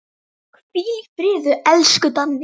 Hvíl í friði, elsku Danni.